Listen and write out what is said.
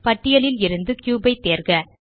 பட்டியலில் இருந்து கியூப் ஐ தேர்க